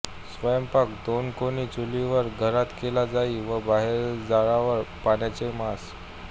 स्वयंपाक दोन कोनी चुलींवर घरात केला जाई व बाहेर जाळावर प्राण्यांचे मांस